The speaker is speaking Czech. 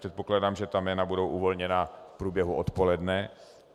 Předpokládám, že ta jména budou uvolněna v průběhu odpoledne.